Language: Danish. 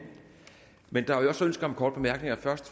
men der er jo også ønsker om korte bemærkninger og først